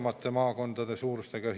Miks oli seda vaja?